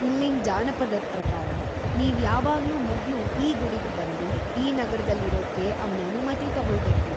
ಇಲ್ಲಿನ್ ಜಾನಪದದ್ ‌ಪ್ರಕಾರ, ನೀವ್‌ ಯಾವಾಗ್ಲೂ ಮೊದ್ಲು ಈ ಗುಡಿಗ್ ಬಂದು ಈ ನಗರದಲ್ಲಿರೋಕ್ಕೆ ಅವ್ನ ಅನುಮತಿ ತಗೊಳ್ಬೇಕು.